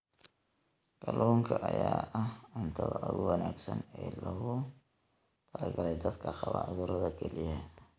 Kalluunka ayaa ah cuntada ugu wanaagsan ee loogu talagalay dadka qaba cudurrada kelyaha.